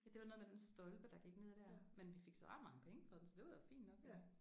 Ja det var noget med den stolpe der gik ned der. Men vi fik så ret mange penge for den så det var jo fint nok